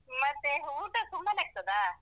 ಮತ್ತೆ ಊಟ ಸುಮ್ಮನೆ ಆಗ್ತದಾ?